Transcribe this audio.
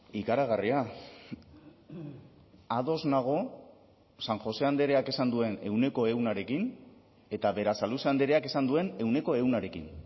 ikaragarria ados nago san josé andreak esan duen ehuneko ehunarekin eta berasaluze andreak esan duen ehuneko ehunarekin